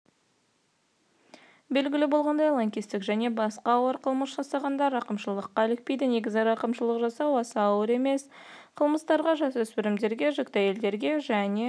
белгілі болғандай лаңкестік және басқа ауыр қылмыс жасағандар рақымшылыққа ілікпейді негізі рақымшылық жасау аса ауыр емес қылмыстарға жасөспірімдерге жүкті әйелдерге және